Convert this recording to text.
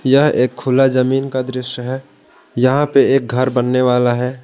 यह एक खुला जमीन का दृश्य है यहां पे एक घर बनने वाला है।